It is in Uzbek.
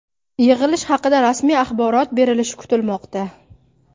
Yig‘ilish haqida rasmiy axborot berilishi kutilmoqda.